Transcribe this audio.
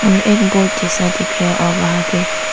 और एक बोर्ड जैसा सा दिख रहा है और वहां पे --